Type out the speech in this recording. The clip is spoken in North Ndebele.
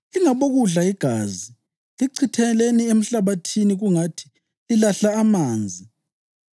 Lingabokudla igazi; lichitheleni emhlabathini kungathi lilahla amanzi.